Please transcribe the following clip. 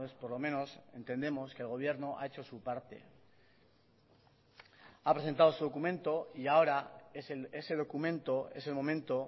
por lo menos entendemos que el gobierno ha hecho su parte ha presentado su documento y ahora ese documento es el momento